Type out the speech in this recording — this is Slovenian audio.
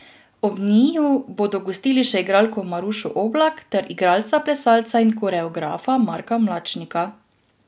Ob njiju bodo gostili še igralko Marušo Oblak ter igralca, plesalca in koreografa Marka Mlačnika.